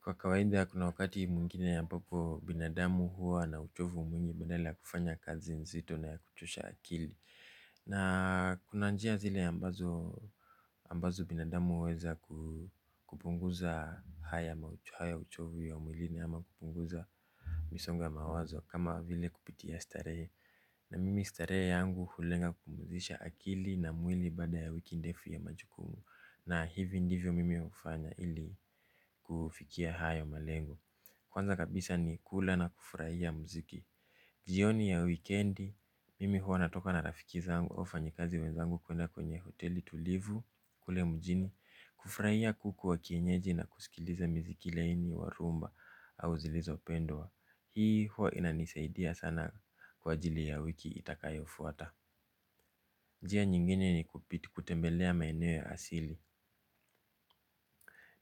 Kwa kawaida kuna wakati mwingine ambapo binadamu huwa na uchovu mwingi badala kufanya kazi nzito na kuchosha akili. Na kuna njia zile ambazo binadamu uweza kupunguza haya uchovu ya mwilini ama kupunguza misongo mawazo kama vile kupitia starehe. Na mimi starehe yangu hulenga kupumzisha akili na mwili baada ya wiki ndefu ya majukumu. Na hivi ndivyo mimi ufanya ili kufikia hayo malengo. Kwanza kabisa ni kula na kufuraia mziki. Jioni ya weekendi, mimi huwa natoka na rafiki zangu au wafanyikazi wenzangu kuenda kwenye hoteli tulivu, kule mujini. Kufuraia kuku wa kienyeji na kusikiliza mziki laini, wa rumba au zilizo pendwa. Hii huwa inanisaidia sana kwa ajili ya wiki itakayo fuata. Njia nyingine ni kupiti kutembelea maeneo ya asili.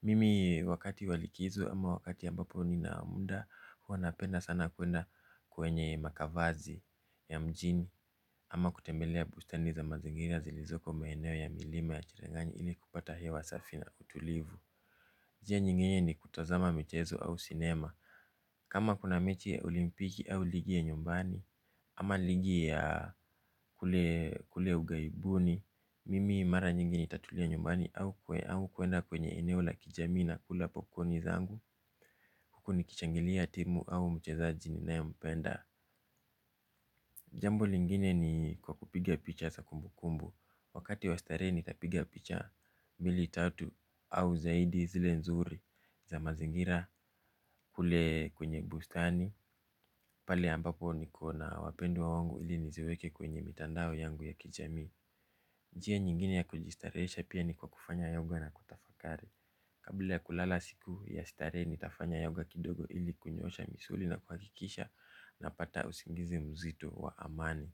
Mimi wakati wa likizo ama wakati ambapo nina muda huwa napenda sana kuenda kwenye makavazi ya mjini ama kutembelea bustani za mazingira zilizoko maeneo ya milima ya cherengani ili kupata hewa safi na utulivu. Njia nyingine ni kutazama mchezo au sinema. Kama kuna mechi ya olimpiki au ligi ya nyumbani. Ama ligi ya kule ugaibuni. Mimi mara nyingi nitatulia nyumbani au kue au kuenda kwenye eneo la kijamii na kula popcorni zangu huku ni kishangilia timu au mchezaji ninaye mpenda. Jambo lingine ni kwa kupiga picha za kumbukumbu. Wakati wa starehe nitapiga picha mbili tatu au zaidi zile nzuri za mazingira kule kwenye bustani. Pale ambapo niko na wapendwa wangu ili niziweke kwenye mitandao yangu ya kijamii. Njia nyingine ya kujistarehesha pia ni kwa kufanya yoga na kutafakari. Kabla ya kulala siku ya starehe nitafanya yoga kidogo ili kunyoosha misuli na kuhakikisha na pata usingizi mzito wa amani.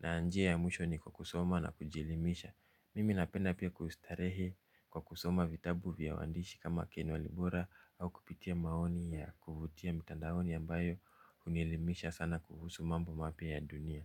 Na njia ya mwisho ni kwa kusoma na kujielimisha. Mimi napenda pia kustarehe kwa kusoma vitabu vya waandishi kama ken walibora au kupitia maoni ya kuvutia mitandaoni ambayo unielimisha sana kuhusu mambo mapya ya dunia.